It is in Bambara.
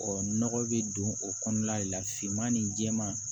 nɔgɔ bɛ don o kɔnɔna de la finman ni jɛman